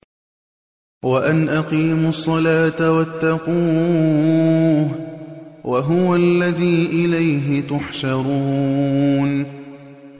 وَأَنْ أَقِيمُوا الصَّلَاةَ وَاتَّقُوهُ ۚ وَهُوَ الَّذِي إِلَيْهِ تُحْشَرُونَ